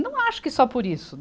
Não acho que só por isso.